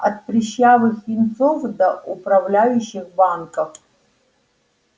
от прыщавых юнцов до управляющих банков